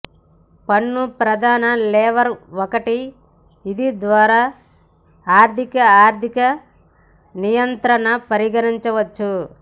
పన్ను ప్రధాన లేవేర్ ఒకటి ఇది ద్వారా ఆర్ధిక ఆర్థిక నియంత్రణ పరిగణించవచ్చు